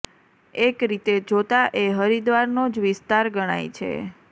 એક રીતે જોતાં એ હરિદ્વારનો જ વિસ્તાર ગણાય છે